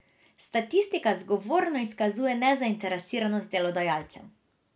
Statistika zgovorno izkazuje nezainteresiranost delodajalcev.